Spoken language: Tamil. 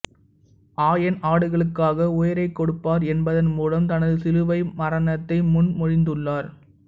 ஆயன் ஆடுகளுக்காக உயிரை கொடுப்பார் என்பதன் மூலம் தனது சிலுவை மரணத்தை முன் மொழிந்துள்ளார்